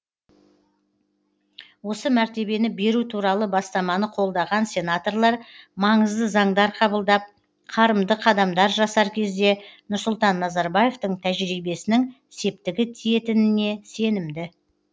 осы мәртебені беру туралы бастаманы қолдаған сенаторлар маңызды заңдар қабылдап қарымды қадамдар жасар кезде нұрсұлтан назарбаевтың тәжірибесінің септігі тиетініне сенімді